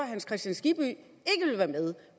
hans kristian skibby